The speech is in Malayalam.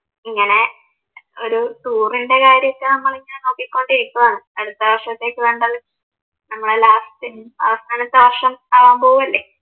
ഇങ്ങനെ ഒരു ടൂറിൻറെ കാര്യമൊക്കെ നമ്മളിങ്ങനെ നോക്കിക്കൊണ്ടിരിക്കുവാണ് അടുത്ത വർഷത്തേക്ക് വേണ്ടത് നമ്മള് ലാസ്റ്റ് അവസാനത്തെ വർഷം ആവാൻ പോവുവല്ലേ.